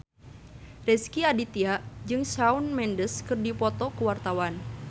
Rezky Aditya jeung Shawn Mendes keur dipoto ku wartawan